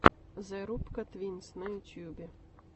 зе рубка твинс на ютубе